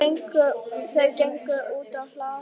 Þau gengu útá hlað.